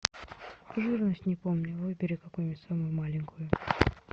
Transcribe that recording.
жирность не помню выбери какую нибудь самую маленькую